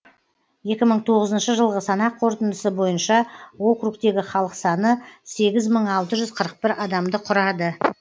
екі мың тоғызыншы жылғы санақ қорытындысы бойынша округтегі халық саны сегіз мың алты жүз қырық бір адамды құрады